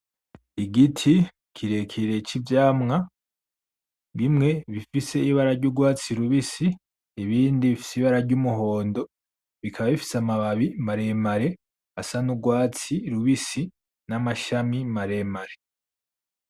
Igiti kirekire civyamwa bimwe bifise ibara ryurwatsi rubisi ibindi bifise ibara ry'umuhondo, bikaba bifise amababi maremare asa n’urwatsi rubisi n'amashami maremare.